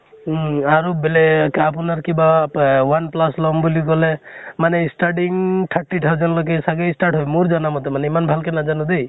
উম আৰু বেলেক আপোনাৰ কিবা এহ one plus লম বুলি কলে মানে starting thirty thousand লৈকে চাগে start হয়। মোৰ জানা মতে মানে, ইমান ভাল কে নাজানো দেই।